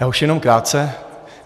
Já už jenom krátce.